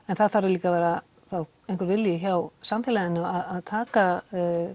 en það þarf líka að vera einhver vilji þá hjá samfélaginu að taka